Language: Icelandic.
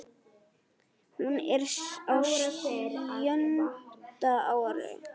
Hún er á sjöunda ári